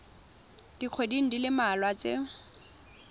dikgweding di le mmalwa tse